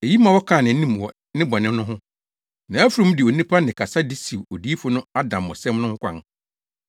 Eyi ma wɔkaa nʼanim wɔ ne bɔne no ho. Nʼafurum de onipa nne kasa de siw odiyifo no adammɔsɛm no ho kwan.